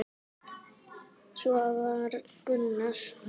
Svona var Gunnar.